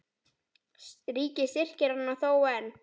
Ríkið styrkir hana þó enn.